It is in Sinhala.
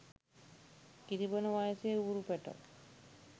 කිරි බොන වයසේ ඌරු පැටව්.